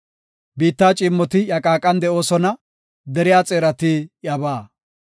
Biitta ciimmoti iya qaaqan de7oosona; deriya xeerati iyabaa.